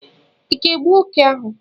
Ị ga-egbu oké ahụ?